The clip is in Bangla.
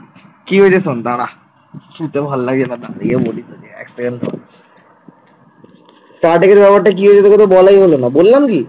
কি হলো তোকে তো বলাই হলো না। বললাম কি?